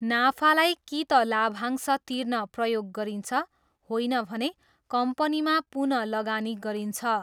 नाफालाई कि त लाभांश तिर्न प्रयोग गरिन्छ होइन भने कम्पनीमा पुनःलगानी गरिन्छ।